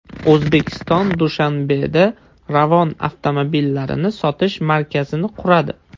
O‘zbekiston Dushanbeda Ravon avtomobillarini sotish markazini quradi.